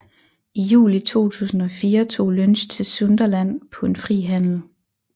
I juli 2004 tog Lynch til Sunderland på en fri handel